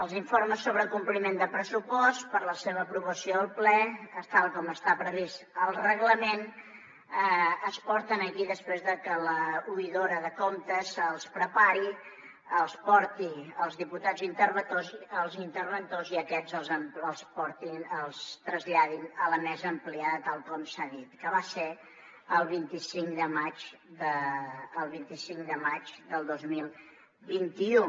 els informes sobre compliment de pressupost per la seva aprovació al ple tal com està previst al reglament es porten aquí després de que l’oïdora de comptes els prepari els porti als diputats interventors i aquests els portin els traslladin a la mesa ampliada tal com s’ha dit que va ser el vint cinc de maig del dos mil vint u